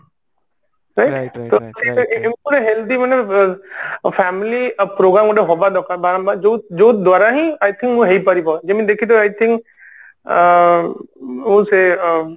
ଏମତି ମାନେ healthy ମାନେ family approval ଗୋଟେ ହବା ଦରକାର ବାରମ୍ବାର ଯୋଉ ଯୋଉ ଦ୍ଵାରା ହିଁ I think ହେଇପାରିବ ଯେମତି ଦେଖିଥିବ I think ଅ ଆଉ ସେ ଅ